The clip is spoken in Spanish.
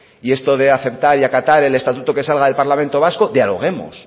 y esto de aceptar y acatar el estatuto que salga del parlamento vasco dialoguemos